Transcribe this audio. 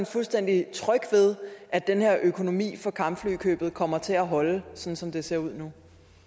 fuldstændig tryg ved at den her økonomi for kampflykøbet kommer til at holde sådan som det ser ud